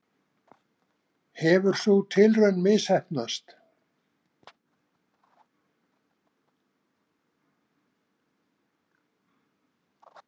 Hefur sú tilraun misheppnast?